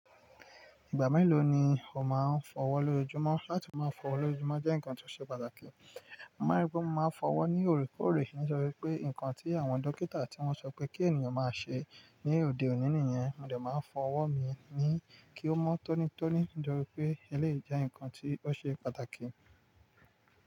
Ìgbà mélòó ni o máa ń fọwọ́ lójoojúmọ́? Láti máa fọwọ́ lójoojúmọ́ jẹ́ nǹkan tó ṣe pàtàkì. Mo máa ń rí pé mo máa ń fọwọ́ ní òrèkóòrè níṣe pé nǹkan tí àwọn dókítà tí wọ́n sọ pé kí ènìyàn máa ṣe ní òde òní nìyẹn. Mo dẹ̀ máa ń fọwọ́ mi ni kí ó mọ́ tónítóní, torí pé eléyìí jẹ́ nǹkan tí ó ṣe pàtàkì.